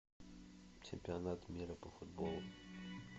чемпионат мира по футболу